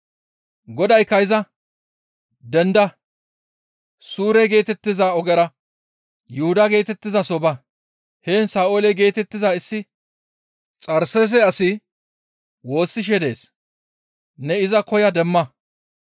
Godaykka iza, «Denda! Suure geetettiza ogeyra Yuhuda geetettizaso ba. Heen Sa7oole geetettiza issi Xarseese asi woossishe dees; ne iza koya demma.